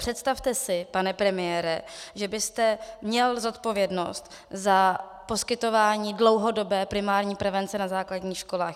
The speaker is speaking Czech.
Představte si, pane premiére, že byste měl zodpovědnost za poskytování dlouhodobé primární prevence na základních školách.